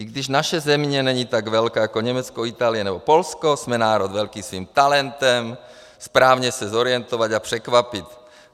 I když naše země není tak velká jako Německo, Itálie nebo Polsko, jsme národ velký svým talentem správně se zorientovat a překvapit.